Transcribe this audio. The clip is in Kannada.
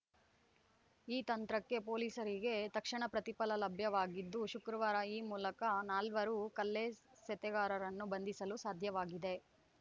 ಈ ತಂತ್ರಕ್ಕೆ ಪೊಲೀಸರಿಗೆ ತಕ್ಷಣ ಪ್ರತಿಫಲ ಲಭ್ಯವಾಗಿದ್ದು ಶುಕ್ರವಾರ ಈ ಮೂಲಕ ನಾಲ್ವರು ಕಲ್ಲೆಸೆತಗಾರರನ್ನು ಬಂಧಿಸಲು ಸಾಧ್ಯವಾಗಿದೆ